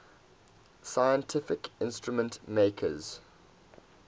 scientific instrument makers